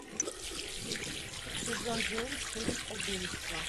сезон девять фильм убийство